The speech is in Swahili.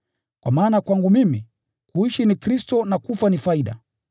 Kwa maana kwangu mimi, kuishi ni Kristo, na kufa ni faida.